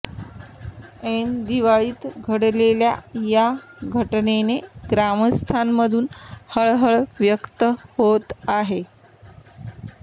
ऐन दिवाळीत घडलेल्या या घटनेने ग्रामस्थांमधून हळहळ व्यक्त होत आहे